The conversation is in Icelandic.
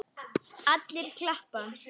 Allir klappa.